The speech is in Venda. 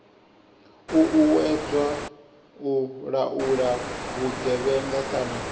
uuwedzwa u laula vhugevhenga kana